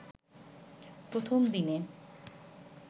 প্রথম দিনে